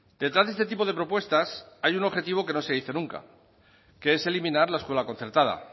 detrás de este tipo de propuestas hay un objetivo que no se dice nunca que es eliminar la escuela concertada